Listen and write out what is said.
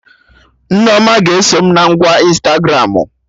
Nneoma ga-eso m na ngwa Ịnstagramụ